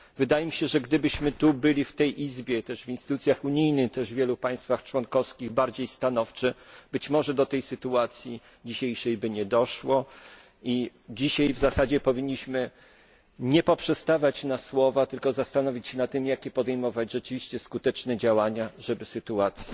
Wydaje mi się, że gdybyśmy byli w tej Izbie, także w innych instytucjach unijnych, czy też w wielu państwach członkowskich bardziej stanowczy, być może do tej dzisiejszej sytuacji by nie doszło i dzisiaj w zasadzie powinniśmy nie poprzestawać na słowach, tylko zastanowić się nad tym, jakie podejmować rzeczywiście skuteczne działania, żeby sytuację